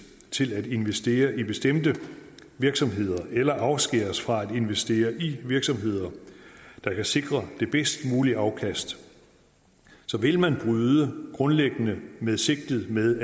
til at investere i bestemte virksomheder eller afskæres fra at investere i virksomheder der kan sikre det bedst mulige afkast vil man bryde grundlæggende med sigtet med